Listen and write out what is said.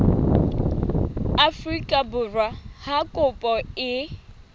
afrika borwa ha kopo e